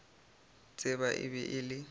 tseba e be e le